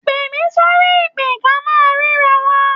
Pè mí sórí ìpè-ká-máa-ríra-wa